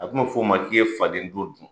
A tun bɛ f'o ma k'i ye faden to dun.